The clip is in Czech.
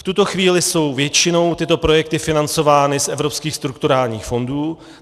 V tuto chvíli jsou většinou tyto projekty financovány z evropských strukturálních fondů.